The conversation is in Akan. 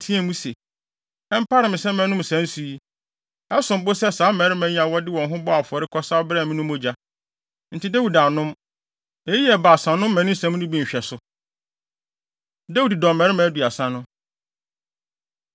teɛɛ mu se, “Ɛmpare me sɛ mɛnom saa nsu yi. Ɛsom bo sɛ saa mmarima yi a wɔde wɔn ho bɔɔ afɔre kɔsaw brɛɛ me no mogya.” Enti Dawid annom. Eyi yɛ Baasa no mmaninsɛm no bi nhwɛso. Dawid Dɔmmarima Aduasa No